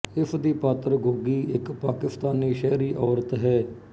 ਇਸ ਦੀ ਪਾਤਰ ਗੋਗੀ ਇੱਕ ਪਾਕਿਸਤਾਨੀ ਸ਼ਹਿਰੀ ਔਰਤ ਹੈ